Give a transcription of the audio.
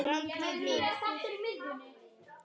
Þetta eru ólíkar hefðir.